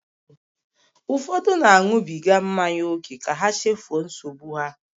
Ụfọdụ na-aṅụbiga mmanya ókè ka ha chefuo nsogbu ha.